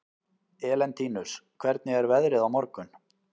Elentínus, hvernig er veðrið á morgun?